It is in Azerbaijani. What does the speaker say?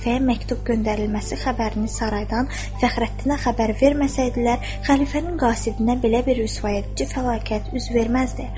Xəlifəyə məktub göndərilməsi xəbərini saraydan Fəxrəddinə xəbər verməsəydilər, xəlifənin qasidinə belə bir rüsvayedici fəlakət üz verməzdi.